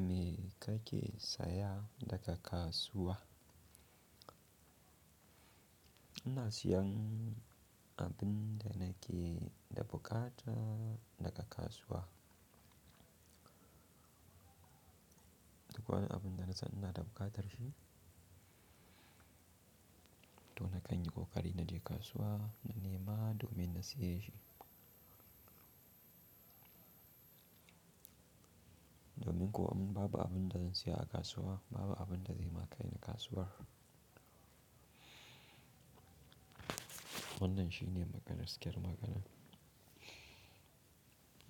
Me kake saya daga kasuwa? Ina siyan abin da nake da buƙata daga kasuwa. Duk wani abun da na san ina da buƙatar shi, to na kan yi ƙoƙari na je kasuwa, na nema domin na siya shi. Domin ko an babu abin da zan siya a kasuwa, babu abin da zai ma kaini kasuwar. Wannan shi ne gaskiyar maganan.